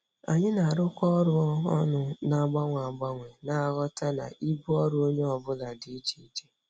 Anyị na-arụkọ ọrụ ọnụ na-agbanwe agbanwe, na-aghọta na ibu ọrụ onye ọ bụla dị iche iche.